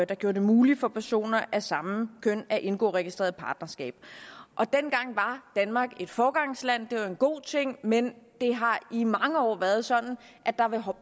der gjorde det muligt for personer af samme køn at indgå registreret partnerskab og dengang var danmark et foregangsland det var en god ting men det har i mange år været sådan at der